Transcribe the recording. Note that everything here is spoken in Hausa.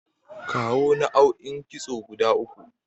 Kawo naau'in kitso guda uku?